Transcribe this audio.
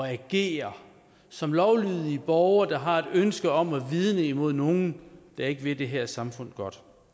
at agere som lovlydige borgere der har et ønske om at vidne imod nogle der ikke vil det her samfund godt